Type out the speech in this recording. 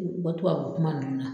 U u ka tubabu kuma ninnu na.